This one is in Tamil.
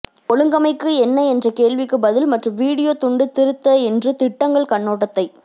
ஒழுங்கமைக்க என்ன என்ற கேள்விக்கு பதில் மற்றும் வீடியோ துண்டு திருத்த என்று திட்டங்கள் கண்ணோட்டத்தை